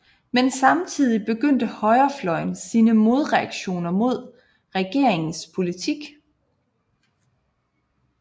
Men samtidig begyndte højrefløjen sine modreaktioner mod regeringens politik